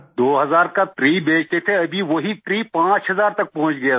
2000 का ट्री बेचते थे अभी वही ट्री 5000 तक पहुँच गया सर